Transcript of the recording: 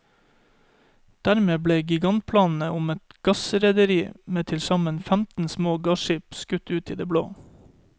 Dermed ble gigantplanene om et gassrederi med tilsammen femten små gasskip skutt ut i det blå.